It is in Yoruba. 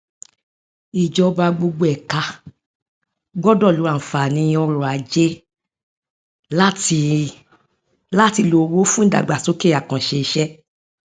ìjọba gbogbo ẹka gbọdọ lo àǹfààní ọrọajé láti láti lo owó fún ìdàgbàsókè àkànṣeiṣẹ